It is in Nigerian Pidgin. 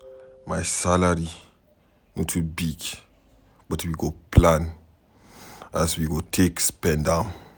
My salary no too big but we go plan as we go take spend am.